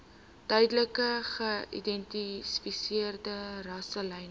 duidelik geïdentifiseerde rasselyne